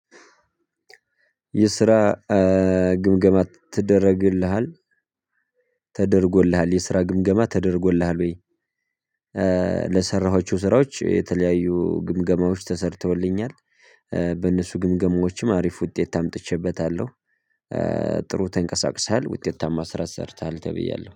የስራ ግምገማ ይደረግልሃል? የስራ ግምገማ ተደርጎልሃል ወይ? ለሰራኃቸው ስራዎች የተለያዩ ግምገማዎች ተሰርተውልኛል። በእነሱ ግምገማዎችም አሪፍ ውጤት አምጥቼበታለሁ። ጥሩ ተንቀሳቅሰሃል ውጤታማ ስራ ሰርተሃል ተብያለሁ።